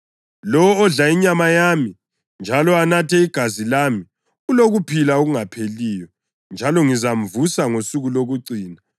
Lowo odla inyama yami njalo anathe igazi lami ulokuphila okungapheliyo njalo ngizamvusa ngosuku lokucina.